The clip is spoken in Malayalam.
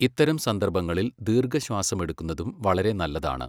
ഇത്തരം സന്ദർഭങ്ങളിൽ ദീർഘശ്വാസമെടുക്കുന്നതും വളരെ നല്ലതാണ്.